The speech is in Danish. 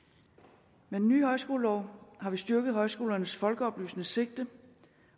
med den nye højskolelov har vi styrket højskolernes folkeoplysende sigte